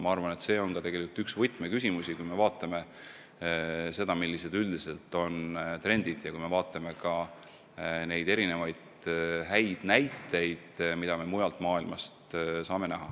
Ma arvan, et see on tegelikult üks võtmeküsimusi, kui me vaatame seda, millised on üldised trendid ja millised on erinevad head näited mujalt maailmast.